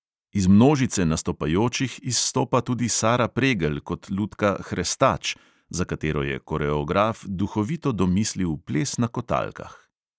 Iz množice nastopajočih izstopa tudi sara pregelj kot lutka hrestač, za katero je koreograf duhovito domislil ples na kotalkah.